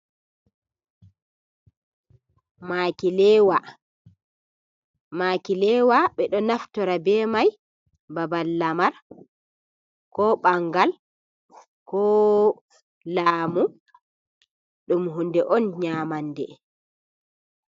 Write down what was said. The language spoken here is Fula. Maakileewa, ɓe ɗo naftira bee may haa babal lamar koo ɓanngal koo laamu. Ɗum huunde on nyaamande.